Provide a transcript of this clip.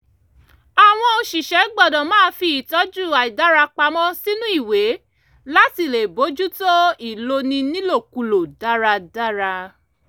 àwọn òṣìṣẹ́ gbọ́dọ̀ máa fi ìtọ́jú àìdára pamọ́ sínú ìwé láti lè bójútó ìloni nílòkulò dáradára